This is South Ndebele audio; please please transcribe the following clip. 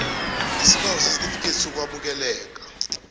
isibawo sesitifikethi sokwamukeleka